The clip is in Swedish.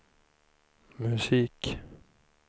musik